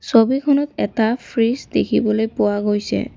ছবিখনত এটা ফ্ৰিজ দেখিবলৈ পোৱা গৈছে।